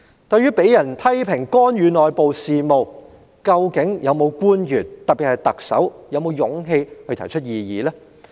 對於被人批評干預內部事務，究竟有否任何官員，特別是特首，有勇氣提出異議呢？